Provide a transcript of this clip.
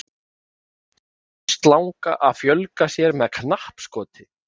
armslanga að fjölga sér með knappskoti